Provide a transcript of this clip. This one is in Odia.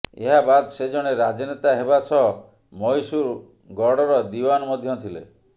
ଏହା ବାଦ ସେ ଜଣେ ରାଜନେତା ହେବା ସହ ମହୀଶୂର ଗଡର ଦିୱାନ ମଧ୍ୟ ଥିଲେ